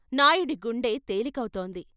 నాయుడి గుండె తేలికవుతోంది.